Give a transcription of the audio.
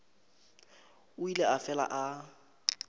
o ile a fela a